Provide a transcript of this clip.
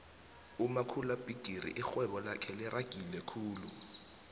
umakhulabigixi ixhwebo lake lixagile khulu